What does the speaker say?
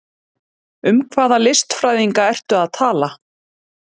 Um hvaða listfræðinga ertu að tala?